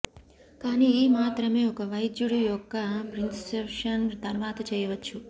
కానీ ఈ మాత్రమే ఒక వైద్యుడు యొక్క ప్రిస్క్రిప్షన్ తర్వాత చేయవచ్చు